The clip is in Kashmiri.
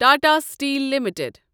Tata steel limited